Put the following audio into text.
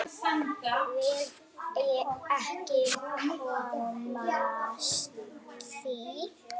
Vil ekki kynnast því.